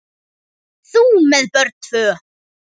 Þú með tvö börn!